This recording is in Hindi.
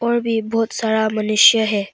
अभी बहुत सारा मनुष्य है।